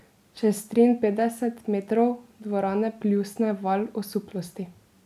Čez triinpetdeset metrov dvorane pljusne val osuplosti.